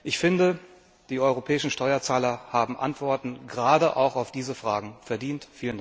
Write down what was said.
Ich finde, die europäischen Steuerzahler haben Antworten gerade auch auf diese Fragen verdient.